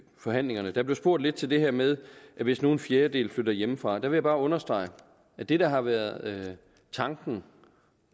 forhandlingerne der blev spurgt lidt til det her med at hvis nu en fjerdedel flytter hjemmefra og der vil jeg bare understrege at det der har været tanken